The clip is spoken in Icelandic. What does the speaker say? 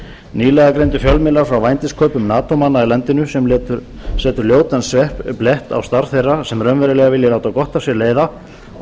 nýlega greindu fjölmiðlar frá vændiskaupum nato manna í landinu sem setur ljótan blett á starf þeirra sem raunverulega vilja láta gott af sér leiða og